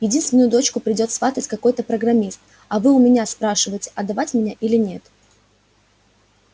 единственную дочку придёт сватать какой-то программист а вы у меня спрашиваете отдавать меня или нет